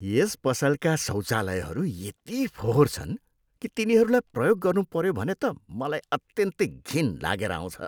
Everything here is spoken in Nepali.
यस पसलका शौचालयहरू यति फोहोर छन् कि तिनीहरूलाई प्रयोग गर्नुपऱ्यो भने त मलाई अत्यन्तै घिन लागेर आउँछ।